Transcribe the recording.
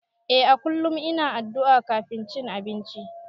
Eh a kullum ina addu'a kafin cin abinci.